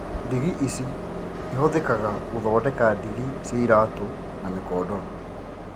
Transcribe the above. Ndigi ici ihũthĩkaga gũthondeka ndigi cia iratũ na mĩkondoro